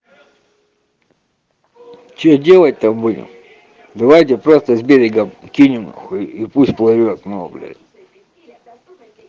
что делать-то будем давайте просто с берега кинем хуй и пусть плывёт блядь